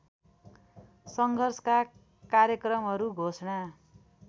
सङ्घर्षका कार्यक्रमहरू घोषणा